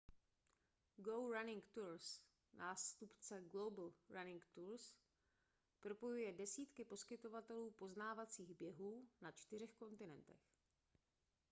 go running tours nástupce global running tours propojuje desítky poskytovatelů poznávacích běhů na čtyřech kontinentech